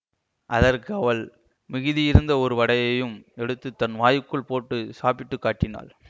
அதற்கு அவள் மிகுதியிருந்த ஒரு வடையையும் எடுத்து தன் வாயுக்குள் போட்டு சாப்பிட்டு காட்டினாள்